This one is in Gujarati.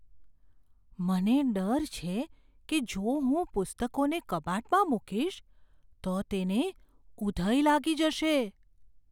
મને ડર છે કે જો હું પુસ્તકોને કબાટમાં મૂકીશ, તો તેને ઉધઈ લાગી જશે.